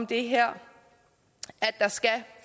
det her at der skal